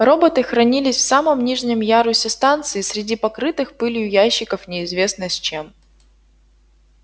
роботы хранились в самом нижнем ярусе станции среди покрытых пылью ящиков неизвестно с чем